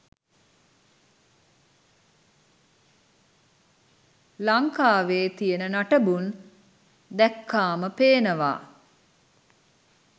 ලංකාවෙ තියෙන නටබුන් දැක්කාම පේනවා.